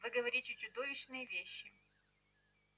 вы говорите чудовищные вещи